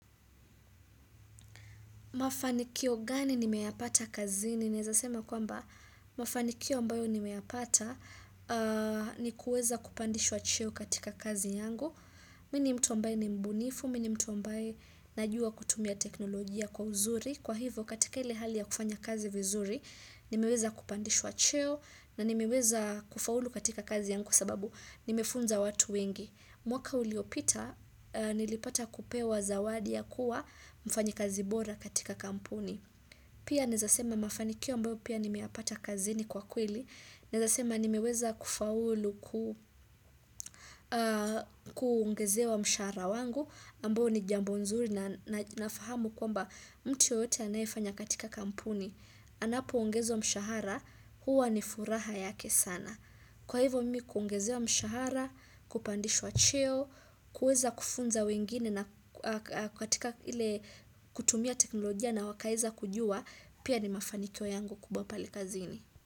Mafanikio gani nimeyapata kazini naeza sema kwamba mafanikio ambayo nimeyapata ni kuweza kupandishwa cheo katika kazi yangu. Mi ni mtu ambaye ni mbunifu, mi ni mtu ambaye najua kutumia teknolojia kwa uzuri. Kwa hivo katika ile hali ya kufanya kazi vizuri nimeweza kupandishwa cheo na nimeweza kufaulu katika kazi yangu sababu nimefunza watu wengi. Mwaka uliopita nilipata kupewa zawadi ya kuwa mfanyikazi bora katika kampuni. Pia naeza sema mafanikio ambayo pia nimeyapata kazini kwa kweli. Nizasema nimiweza kufaulu kungezewa mshahara wangu ambayo ni jambo nzuri na nafahamu kwamba mtu yoyote anayefanya katika kampuni. Anapo ongezwa mshahara, huwa ni furaha yake sana. Kwa hivyo mimi kuongezewa mshahara, kupandishwa cheo, kuweza kufunza wengine na kutumia teknolojia na wakaeza kujua, pia ni mafanikio yangu kubwa pale kazini.